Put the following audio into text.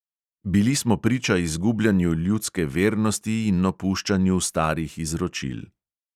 Bili smo priča izgubljanju ljudske vernosti in opuščanju starih izročil.